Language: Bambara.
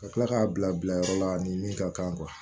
Ka tila k'a bila yɔrɔ la ni min ka kan